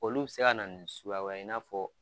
Olu bɛ se ka na nin suguya wɛrɛ ye in n'a fɔ.